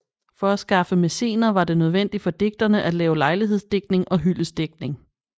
For at skaffe mæcener var det nødvendigt for digterne at lave lejlighedsdigtning og hyldestdigtning